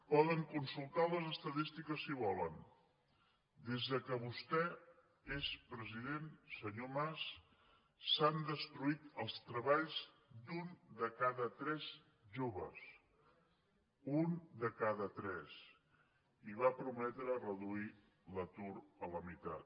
poden consultar les estadístiques si volen des que vostè és president senyor mas s’han destruït els treballs d’un de cada tres joves un de cada tres i va prometre reduir l’atur a la meitat